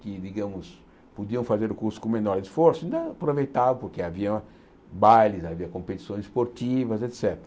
que, digamos, podiam fazer o curso com menor esforço, ainda aproveitavam, porque havia bailes, havia competições esportivas, et cétera.